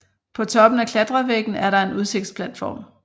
På toppen af klatrevæggen er der en udsigtplatform